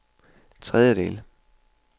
tredjedel